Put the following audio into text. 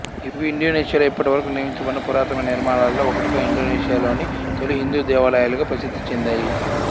ఇవి ఇండోనేషియా లో ఇప్పటివరకు నిర్మించబడిన పురాతనమైన నిర్మాణాలలో ఒకటిగా ఇండోనేషియాలోని తొలి హిందూ దేవాలయాలుగా ప్రసిద్ధి చెందాయి